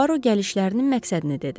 Puaro gəlişlərinin məqsədini dedi.